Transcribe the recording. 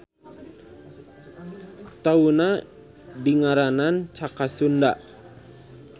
Taunna dingaranan Caka Sunda.